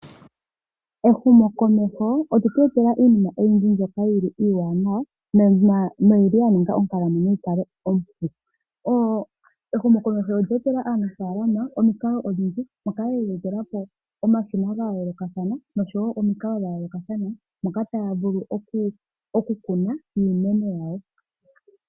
Ehumokomeho olye tu etela iinima oyindji mbyoka iiwanawa noyili ya ninga onkalamwenyo yi kale ompu. Ehumokomeho olye etela aanafaalama, omikalo odhindji mwa kwatelwa omashina ga yoolokathana noshowo omikalo dha yoolokathana, moka taya vulu okukuna iimeno yawo.